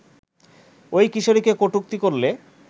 ওই কিশোরীকে কটুক্তি করলে